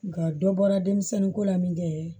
Nga dɔ bɔra denmisɛnninko la min kɛ